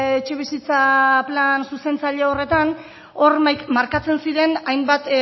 etxebizitza plan zuzentzaile horretan hor markatzen ziren hainbat